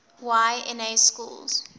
y na schools